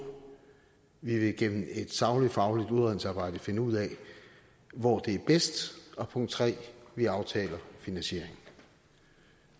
vi vil gennem et sagligt fagligt udredningsarbejde finde ud af hvor det er bedst og punkt 3 vi aftaler finansieringen